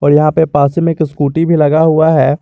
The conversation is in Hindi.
यहां पे पास ही में एक स्कूटी भी लगा हुआ है।